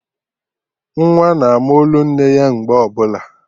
Nwa na-ama olu nne ya mgbe ọbụla